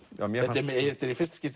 þetta er í fyrsta skipti